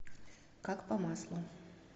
как по маслу